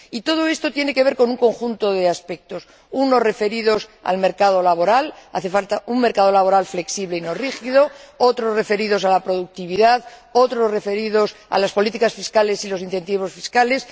Y todo esto tiene que ver con un conjunto de aspectos unos referidos al mercado laboral —hace falta un mercado laboral flexible y no rígido—, otros referidos a la productividad y otros referidos a las políticas fiscales y los incentivos fiscales.